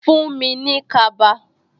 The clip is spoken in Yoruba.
Fuhn mi ní kaba